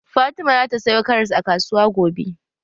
Fatima zata sayo karas a kasuwa gobe.